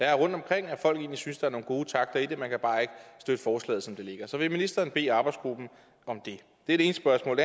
er rundtomkring at folk egentlig synes der er nogle gode takter i det man kan bare ikke støtte forslaget som det ligger så vil ministeren bede arbejdsgruppen om det det er det ene spørgsmål